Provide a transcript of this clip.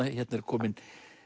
hérna er kominn